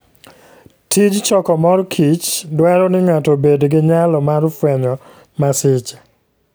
Tij chokomor kich dwaro ni ng'ato obed gi nyalo mar fwenyo masiche.